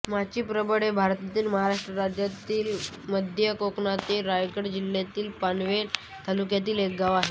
माचीप्रबळ हे भारतातील महाराष्ट्र राज्यातील मध्य कोकणातील रायगड जिल्ह्यातील पनवेल तालुक्यातील एक गाव आहे